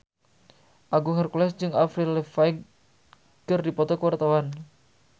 Agung Hercules jeung Avril Lavigne keur dipoto ku wartawan